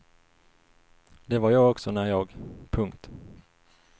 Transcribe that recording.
Det var jag också när jag. punkt